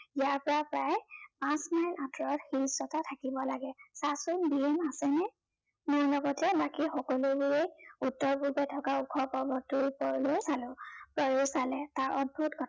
ইয়াৰ পৰা প্ৰায় পাঁচ মাইল আঁতৰত শিলচটা থাকিব লাগে। চা চোন গিৰিণ আছেনে? মোৰ লগতে বাকী সকলোবোৰে উত্তৰ পূবে থকা ওখ পৰ্বতটোৰও পৰলৈ চালো। জয়েও চালে, তাৰ অদ্ভূত কথা শুনি